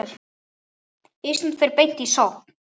Ísland fer beint í sókn.